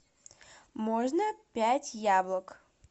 можно пять яблок